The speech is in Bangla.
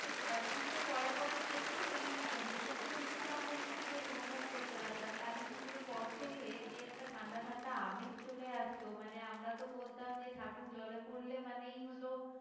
একটু আহ পুজোর পরে পরেই দেখবে ওই হেমন্ত ঋতুটা আমরা কিন্তু বেশ অনুভব করতে পারতাম কালীপুজোর পর থেকে যে একটা ঠান্ডা ঠান্ডা আমীত চলে আসতো মানে আমরা তো বলতাম যে ঠাকুর জলে পড়লে মানেই হলো